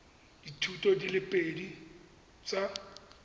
dithuto di le pedi tsa